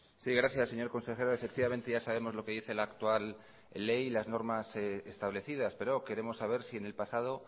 sí gracias señor consejero efectivamente ya sabemos lo que dice la actual ley y las normas establecidas pero queremos saber si en el pasado